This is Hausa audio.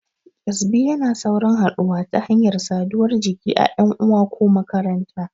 Ƙyezbi yana saurin haɗuwa ta hanyar saduwar jiki a ƴan uwa ko makaranta.